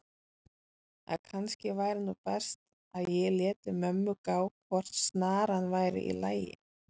að kannski væri nú best að ég léti mömmu gá hvort snaran væri í lagi.